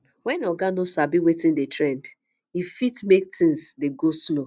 when oga no sabi wetin dey trend e fit make things dey go slow